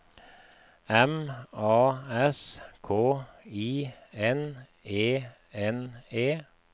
M A S K I N E N E